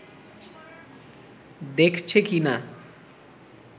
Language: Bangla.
দেখছে কি না